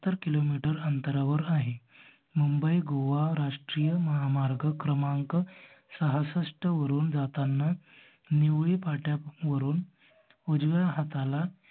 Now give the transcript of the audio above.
Kilo metre अंतरावर आहे. मुंबई गोवा रास्त्रीय महामार्ग क्रमांक सासस्ट वरुन जाताना निवळी फाट्यावरुन उजव्या हाताला